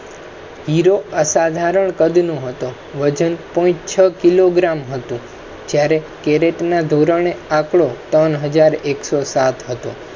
હિરો અસાધારણ કધ નો હતો. વજન point છ કિલોગ્રામ હતું. જયારેકરેત ના ધોરણે આંકડો ત્રણ હજાર એક્સો સાત હતું